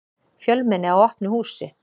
Fjölmenni á opnu húsi